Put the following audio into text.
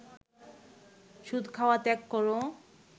সুদ খাওয়া ত্যাগ কর